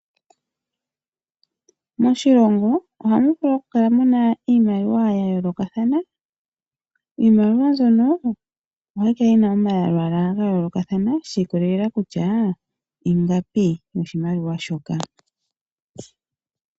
Moshilongo ohamu vulu ku kala muna iimaliwa ya yoolokathana, iimaliwa mbyono ohayi kala yina omalwalwa ga yoolokathana shi ikolela kutya ingapi yoshimaliwa shoka.